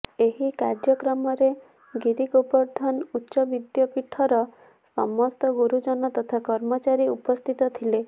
ଏହି କାର୍ଯ୍ୟକ୍ରମରେ ଗିରିଗୋବର୍ଧନ ଉଚ୍ଚବିଦ୍ୟପୀଠର ସମସ୍ତ ଗୁରୁଜନ ତଥା କର୍ମଚାରୀ ଉପସ୍ଥିତ ଥିଲେ